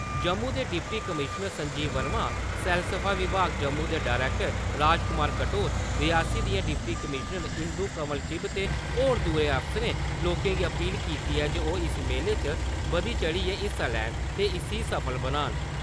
जम्मू दे deputy commissioner Sanjeev Verma, सैलसफा विभाग जम्मू दे डरैक्टर राजकुमार कटोच, रियासी दियां डिप्टी कमीश्नर इंदू कंवल चिब ते होर दुए अफसरें, लोकें गी अपील कीती ऐ जे ओह् इस मेले च बधी-चढ़ियै हिस्सा लैन ते इसी सफल बनान।